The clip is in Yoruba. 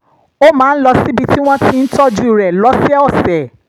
ó máa ń lọ síbi tí wọ́n ti ń tọ́jú rẹ̀ lọ́sọ̀ọ̀sẹ̀